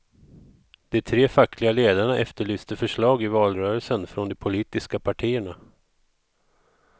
De tre fackliga ledarna efterlyste förslag i valrörelsen från de politiska partierna.